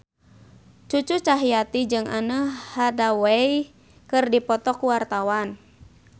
Cucu Cahyati jeung Anne Hathaway keur dipoto ku wartawan